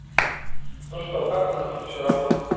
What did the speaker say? ну что как у нас тут всё работает